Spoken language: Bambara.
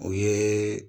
O ye